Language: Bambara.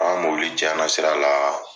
An ka mobili cɛn na sira la.